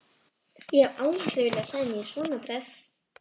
Ég hef aldrei viljað klæða mig í svona dress.